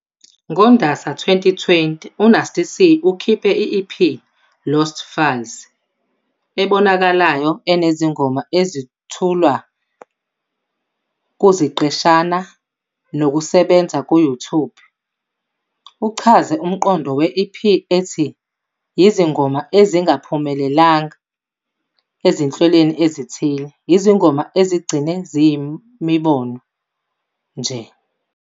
NgoNdasa 2020, uNasty C ukhiphe i-EP "Lost Files" ebonakalayo, enezingoma ezethulwa kuziqeshana zokusebenza ku-YouTube. Uchaze umqondo we-EP ethi- "Yizingoma ezingaphumelelanga ezinhlelweni ezithile, izingoma ezigcine ziyimibono nje".